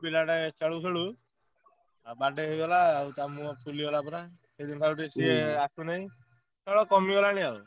ପିଲାଟେ ଖେଳୁଖେଳୁ ବାଡ଼େଇ ହେଇଗଲା ତା ମୁହଁ ଫୁଲି ଗଲା ପୁରା ଏବେ ସେଇଠୁ ସିଏ ଆସୁନାହିଁ। ଖେଳ କମିଗଲାଣି ଆଉ।